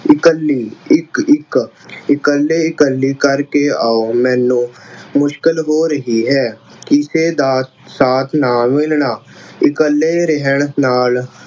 ਇਕੱਲੀ ਇੱਕ-ਇੱਕ, ਇਕੱਲੀ -ਇਕੱਲੀ ਕਰਕੇ ਆਓ ਮੈਨੂੰ ਅਹ ਮੁਸ਼ਕਿਲ ਹੋ ਰਹੀ ਹੈ। ਕਿਸੇ ਦਾ ਸਾਥ ਨਾ ਮਿਲਣਾ। ਇਕੱਲੇ ਰਹਿਣ ਨਾਲ